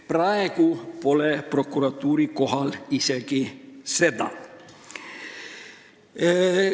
Praegu ei tehta prokuratuuri üle isegi sellist järelevalvet.